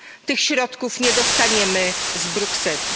Tych środków nie dostaniemy z Brukseli.